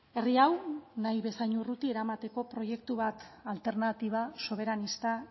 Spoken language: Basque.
herri hau nahi bezain urruti eramateko proiektu bat alternatiba soberanista